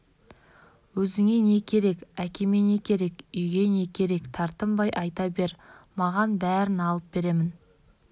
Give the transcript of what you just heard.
өзіңе не керек әкеме не керек үйге не керек тартынбай айта бер маған бәрін алып беремін